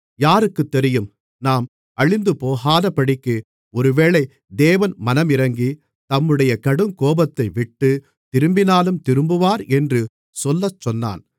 யாருக்குத் தெரியும் நாம் அழிந்துபோகாதபடிக்கு ஒருவேளை தேவன் மனமிரங்கி தம்முடைய கடுங்கோபத்தைவிட்டுத் திரும்பினாலும் திரும்புவார் என்று சொல்லச்சொன்னான்